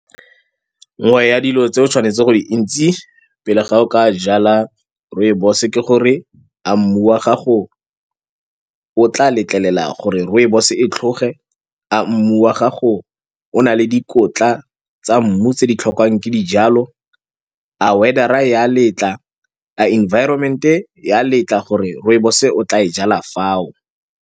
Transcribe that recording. Nngwe ya dilo tseo tshwanetseng go di itse pele ga o ka jala rooibos-e ke gore a mmu wa gago o tla letlelela gore rooibos-e e tlhoge. A mmu wa gago a o na le dikotla tsa mmu tse di tlhokwang ke dijalo, a weather-a ya letla, a environment-e ya letla gore rooibos-o o tla e jala fao.